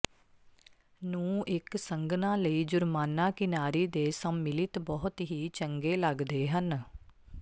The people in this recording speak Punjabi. ਨੂੰ ਇੱਕ ਸੰਘਣਾ ਲਈ ਜੁਰਮਾਨਾ ਕਿਨਾਰੀ ਦੇ ਸੰਮਿਲਿਤ ਬਹੁਤ ਹੀ ਚੰਗੇ ਲੱਗਦੇ ਹਨ